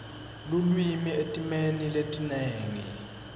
lulwimi etimeni letinengi